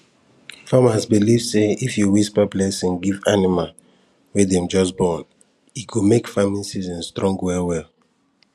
farmers believe say if you whisper blessing give animal wey dem just born e go make farming season strong well well